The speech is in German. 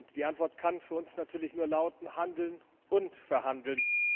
Die Antwort kann für uns natürlich nur lauten handeln und verhandeln.